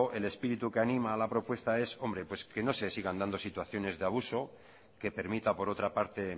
el espíritu que anima a la propuesta es que no se sigan dando situaciones de abuso que permita por otra parte